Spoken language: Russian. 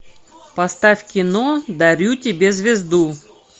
поставь кино дарю тебе звезду